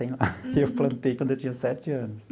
Eu plantei quando eu tinha sete anos.